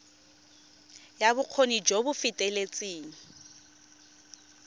ya bokgoni jo bo feteletseng